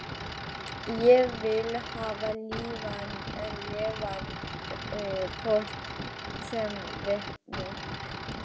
Ég vil hafa lifandi fólk sem vitni